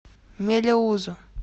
мелеузу